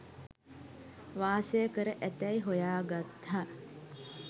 වාසය කර ඇතැයි හොයා ගත්තා